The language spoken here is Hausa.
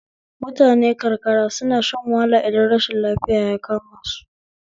Mutane karkara suna shan wahala idan rashin lafiya ya kama su